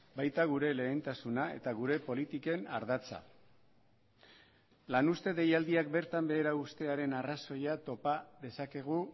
baita gure lehentasuna eta gure politiken ardatza lan uzte deialdiak bertan behera uztearen arrazoia topa dezakegu